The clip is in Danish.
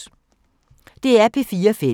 DR P4 Fælles